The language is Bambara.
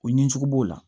U ɲinicogo b'o la